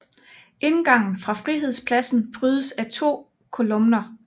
Indgangen fra Frihedspladsen prydes af to kolumner